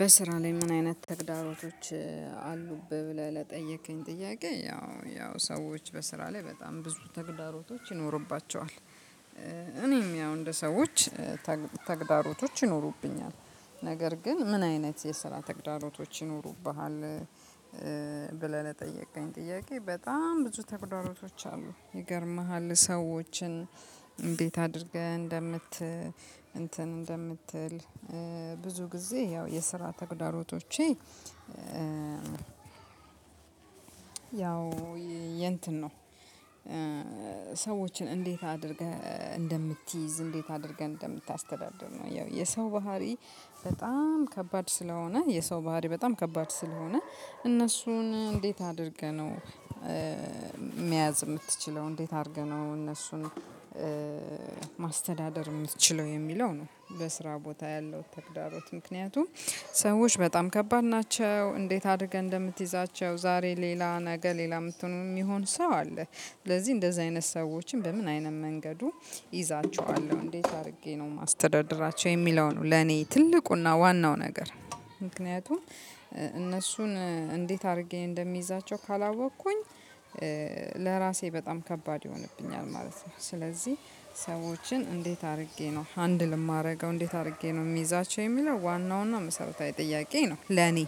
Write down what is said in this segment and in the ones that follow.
"በስራ ላይ ምን አይነት ተግዳሮቶች አሉብህ?" ብለህ ለጠየከኝ ጥያቄ ያው ያው ሰዎች በስራ ላይ በጣም ብዙ ተግዳሮቶች ይኖርባቸዋል። እኔም ያው እንደ ሰዎች ተግዳሮቶች ይኖሩብኛል ነገር ግን ምን አይነት የስራ ተግዳሮቶች ይኖሩብሃል ብለህ ለጠየቀኝ ጥያቄ በጣም ብዙ ተግዳሮቶች አሉ ይገርምሃል ሰዎችን እንዴት አድርገህ እንደምት እንትን እንደምትል ብዙ ጊዜ ያው የስራ ተግዳሮቶቼ ያው የእንትን ነው ሰዎችን እንዴት አድርገህ እንደምትይዝ እንዴት አድርገህ እንደምታስተዳድር ነው። ያው የሰው ባህሪ በጣም ከባድ ስለሆነ የሰው ባህሪ በጣም ከባድ ስለሆነ እነሱን እንዴት አድርገህ ነው መያዝ የምትችለው እንዴት አድርገህ ነው እነሱን ማስተዳደር የምትችለው የሚለው ነው በስራ ቦታ ያለው ተግዳሮት ምክንያቱም ሰዎች በጣም ከባድ ናቸው እንዴት አድርገህ እንደምትይዛቸው ዛሬ ሌላ ነገ ሌላ የምትሆኑ የሚሆን ሰው አለ ስለዚህ እንደዚህ አይነት ሰዎችን በምን አይነት መንገዱ እይዛችኋለሁ እንዴት አድርጌ ነው የማስተዳድራቸው የሚለው ነው ለኔ ትልቁና ዋናው ነገር። ምክንያቱም እነሱን እንዴት አድርጌ እንደሚይዛቸው ካላወኩኝ ለራሴ በጣም ከባድ ይሆንብኛል ማለት ነው። ስለዚህ ሰዎችን እንዴት አድርጌ ነው ሃንድል የማደርገው እንዴት አድርጌ ነው የሚይዛቸው የሚለው ዋናው እና መሰረታዊ ጥያቄ ነው ለኔ።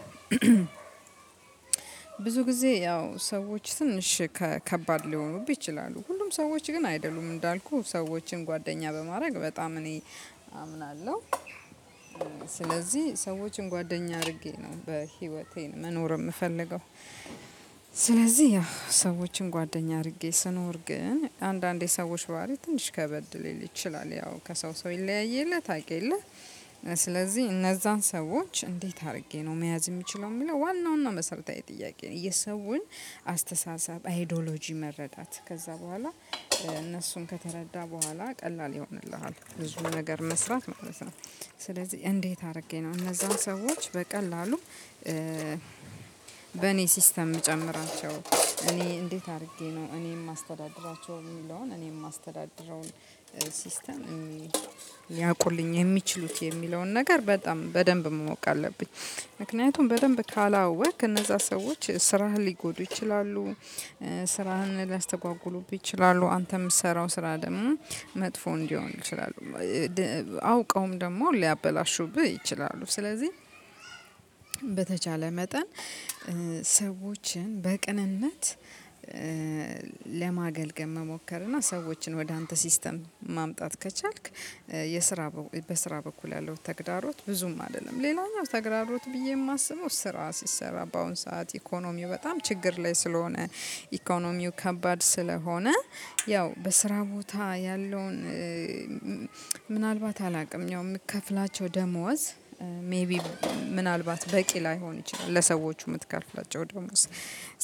ብዙ ጊዜ ያው ሰዎች ትንሽ ከ ከባድ ሊሆኑብህ ይችላሉ። ሁሉም ሰዎች ግን አይደሉም እንዳልኩህ ሰዎችን ጓደኛ በማድረግ በጣም እኔ አምናለሁ። ስለዚህ ሰዎችን ጓደኛ አድርጌ ነው በህይወቴ መኖር የምፈልገው። ስለዚህ ያው ሰዎችን ጓደኛ አድርጌ ስኖር ግን አንዳንዴ ሰዎች ባህሪ ትንሽ ከበድ ሊል ይችላል ያው ከሰው ሰው ይለያይ የለ ታቅ የለ? ስለዚህ እነዛን ሰዎች እንዴት አድርጌ ነው መያዝ የሚችለው የሚለው ዋናው እና መሰረታዊ ጥያቄ ነው የሰውን አስተሳሰብ አይዶሎጂ መረዳት። ከዛ በኋላ እነሱን ከተረዳ በኋላ ቀላል ይሆንልሃል ብዙ ነገር መስራት ማለት ነው። ስለዚህ እንዴት አድርጌ ነው እነዛን ሰዎች በቀላሉ በእኔ ሲስተም ምጨምራቸው እኔ እንዴት አድርጌ ነው እኔ ማስተዳድራቸው የሚለውን እኔም የማስተዳድረውን ሲስተም የሚያውቁልኝ የሚችሉት የሚለውን ነገር በጣም በደንብ ማወቅ አለብኝ። ምክንያቱም በደንብ ካላወቅክ እነዛ ሰዎች ስራህን ሊጎዱ ይችላሉ ስራህን ሊያስተጓጉሉብህ ይችላሉ አንተ የምትሰራው ስራ ደግሞ መጥፎ እንዲሆን ይችላሉ አውቀውም ደግሞ ሊያበላሹብህ ይችላሉ። ስለዚህ በተቻለ መጠን ሰዎችን በቅንነት ለማገልገል መሞከር እና ሰዎችን ወደ አንተ ሲስተም ማምጣት ከቻልክ የስራ በስራ በኩል ያለው ተግዳሮት ብዙም አይደለም ሌላኛው ተግራሮት ብዬ የማስበው ስራ ሲሰራ በአሁን ሰዓት ኢኮኖሚው በጣም ችግር ላይ ስለሆነ ኢኮኖሚው ከባድ ስለሆነ ያው በስራ ቦታ ያለውን ምናልባት አላቅም ያው የምከፍላቸው ደሞዝ ሜይቢ ምናልባት በቂ ላይሆን ይችላል ለሰዎቹ የምትከፍላቸው ደሞዝ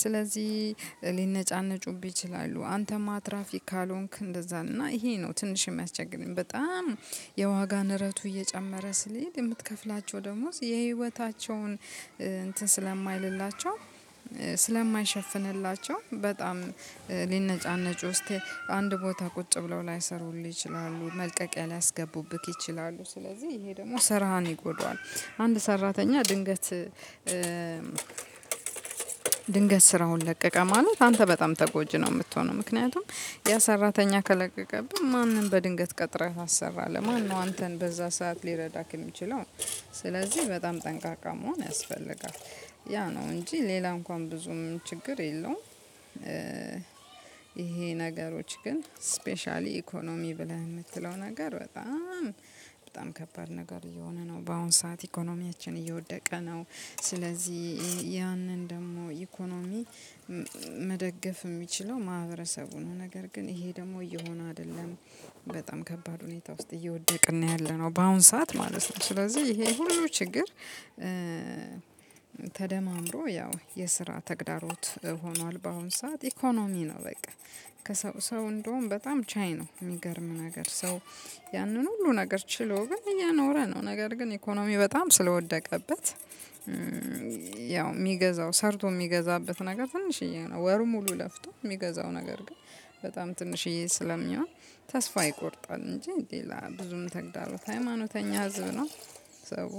ስለዚህ ሊነጫነጩብህ ይችላሉ አንተም አትራፊ ካልሆንክ እንደዛ ነው እና ይሄ ነው ትንሽ የሚያስቸግረኝ በጣም የዋጋ ንረቱ እየጨመረ ስለሄደ የምትከፍላቸው ደሞዝ የህይወታቸውን እንትን ስለማይልላቸው ስለማይሸፍንላቸው በጣም ሊነጫነጩ እስቲ አንድ ቦታ ቁጭ ብለው ላይሰሩልህ ይችላሉ መልቀቂያ ሊያስገቡብህ ይችላሉ ስለዚህ ይሄ ደግሞ ስራህን ይጎዳዋል አንድ ሰራተኛ ድንገት ድንገት ስራውን ለቀቀ ማለት አንተ በጣም ተጎጂ ነው የምትሆነው። ምክንያቱም ያ ሰራተኛ ከለቀቀብህ ማንን በድንገት ቀጥረህ ታሰራለህ ማነው አንተን በዛ ሰዓት ሊረዳህ የሚችለው ነው። ስለዚህ በጣም ጠንቃቃ መሆን ያስፈልጋል ያ ነው እንጂ ሌላ እንኳን ብዙም ችግር የለውም ይሄ ነገሮች ግን ስፔሻሊ ኢኮኖሚ ብለህ የምትለው ነገር በጣም በጣም ከባድ ነገር እየሆነ ነው በአሁን ሰዓት ኢኮኖሚያችን እየወደቀ ነው። ስለዚህ ያንን ደግሞ ኢኮኖሚ መደገፍ የሚችለው ማህበረሰቡ ነው። ነገር ግን ይሄ ደግሞ እየሆነ አይደለም በጣም ከባድ ሁኔታ ውስጥ እየወደቅን ነው ያለነው። በአሁን ሰዓት ማለት ነው ስለዚህ ይሄ ሁሉ ችግር ተደማምሮ ያው የስራ ተግዳሮት ሆኗል በአሁን ሰዓት። ኢኮኖሚ ነው በቃ ከሰው ሰው እንደውም በጣም ቻይ ነው የሚገርም ነገር። ሰው ያንን ሁሉ ነገር ችሎ ግን እየኖረ ነው። ነገር ግን ኢኮኖሚ በጣም ስለወደቀበት። ያው የሚገዛው ሰርቶ የሚገዛበት ነገር ትንሽዬ ነው። ወሩን ሙሉ ለፍቶ የሚገዛው ነገር ግን በጣም ትንሽዬ ስለሚሆን ተስፋ ይቆርጣል እንጂ ሌላ ብዙም ተግዳሮት ሀይማኖተኛ ህዝብ ነው።